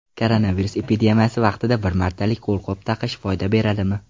Koronavirus epidemiyasi vaqtida bir martalik qo‘lqop taqish foyda beradimi?